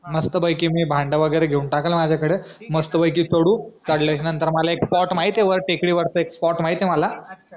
मस्त पैकी मी भांडं वगैरे मी घेऊन टाकलं माझा कड मस्त पैकी चढू चढल्याचा नंतर मला एक स्पोर्ट माहित ए टेकडी वरचा मला एक स्पोर्ट माहित ए मला